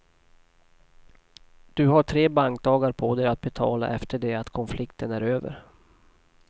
Du har tre bankdagar på dig att betala efter det att konflikten är över.